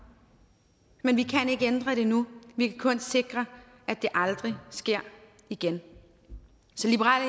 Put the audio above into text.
men vi kan ikke ændre det nu vi kan kun sikre at det aldrig sker igen så liberal